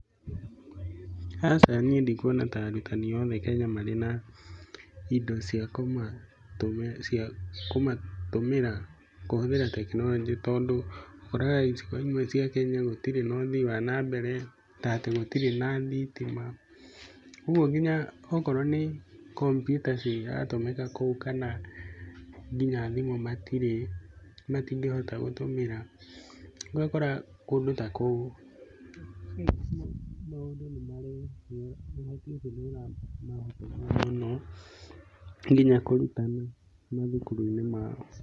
Aca niĩ ndikuona ta arutani othe Kenya marĩ na indo cia kũmatũmĩra kũhũthĩra tekinoronjĩ, tondũ, ũkoraga icigo imwe cia Kenya gũtĩrĩ na ũthiĩ wa nambere, ta atĩ gũtirĩ na thitima. Ũgũo nginya okorwo nĩ ta computer ciratũmĩka kũu, kana nginya thimũ matirĩ, matingĩhota nginya gũtũmĩra, rĩu ũgakora kũndũ ta kũu maũndũ nĩ marahotomia mũno nginya kũrutana thukuru-ini yao.